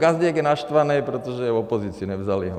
Gazdík je naštvanej, protože je v opozici, nevzali ho.